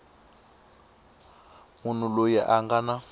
munhu loyi a nga na